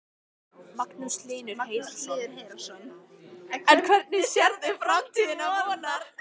Magnús Hlynur Hreiðarsson: En hvernig sérðu framtíð Vonar?